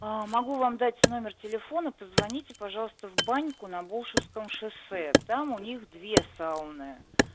могу вам дать номер телефона позвоните пожалуйста в баньку на болшевском шоссе там у них две сауны